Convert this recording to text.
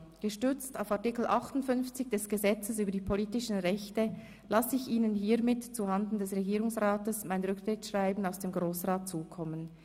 Gestützt auf Artikel 58 des Gesetzes über die politischen Rechte lasse ich Ihnen hiermit zuhanden des Regierungsrates mein Rücktrittschreiben aus dem Grossrat zukommen.